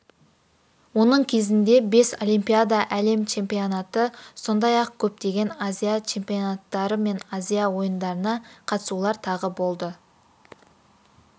оның кезінде бес олимпиада әлем чемпионаты сондай-ақ көптеген азия чемпионаттары мен азия ойындарына қатысулар тағы болды